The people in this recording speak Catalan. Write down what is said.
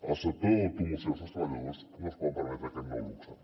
el sector de l’automoció i els treballadors no es poden permetre aquest nou luxe